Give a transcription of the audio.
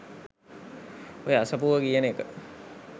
ඔය අසපුව කියන එක